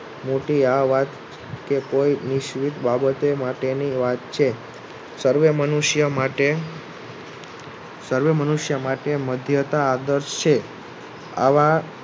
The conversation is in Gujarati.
મોટી આ વાત કે કોઈ માટે ની વાત છે. સર્વે મનુષ્ય માટે મધ્યતા આદર્શ છે. આવા